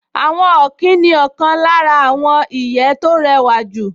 Àwọn ọ̀kín ní ọ̀kan lára àwọn ìyẹ́ tó rẹwà jùlọ